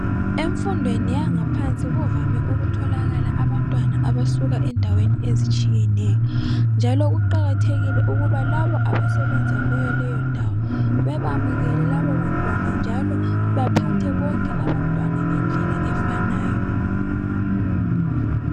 Emfundweni yaphansi kuvame ukutholakala abantwana abasuka endaweni ezitshiyeneyo, njalo kuqakathekile ukuba labo abasebenza kuyo leyo ndawo bebamukele labo bantwana njalo bephathe bonke abantwana ngendlela efananayo.